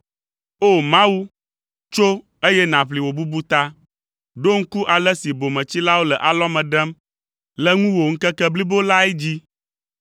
O! Mawu, tso eye nàʋli wò bubu ta; ɖo ŋku ale si bometsilawo le alɔme ɖem le ŋuwò ŋkeke blibo lae dzi.